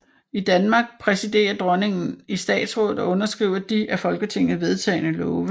I Danmark præsiderer dronningen i Statsrådet og underskriver de af Folketinget vedtagne love